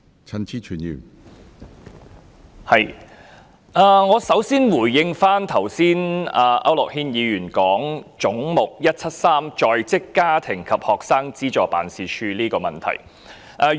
首先，我想回應區諾軒議員剛才提及的"總目 173― 在職家庭及學生資助事務處"的問題。